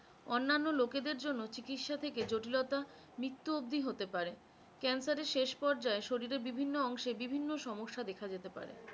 অন্যান্ন লোকেদের জন্য চিকিৎসা থেকে জটিলতা মৃত্যু অবধি হতে পারে cancer এর শেষ পর্যায়ে শরীরের বিভিন্ন অংশে বিভিন্ন সমস্যা দেখা যেতে পারে।